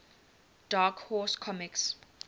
dark horse comics